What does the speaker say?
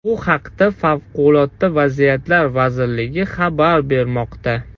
Bu haqda Favqulodda vaziyatlar vazirligi xabar bermoqda .